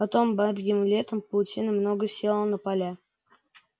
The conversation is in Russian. потом бабьим летом паутины много село на поля